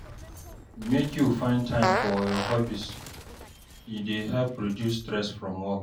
Make you find time for your hobbies, e dey help reduce stress from work.